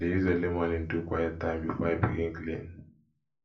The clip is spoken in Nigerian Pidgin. i dey use early morning do quiet time before i begin clean